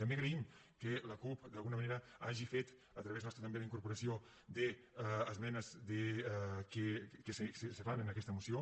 també agraïm que la cup d’alguna manera hagi fet a través nostre també la incorporació d’esmenes que se fan en aquesta moció